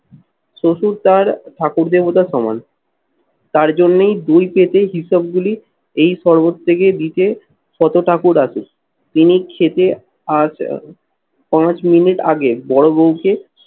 শ্বশুর তার ঠাকুর দেবতা সমান, তার জন্যই দুই পেতে হিসাবগুলি এই শরবত থেকে দিতে শত ঠাকুর আছে। তিনি খেতে আজ পাঁচ মিনিট আগে বড় বউকে